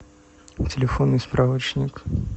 телефонный справочник